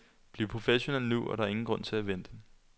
Bliv professionel nu, der er ingen grund til at vente.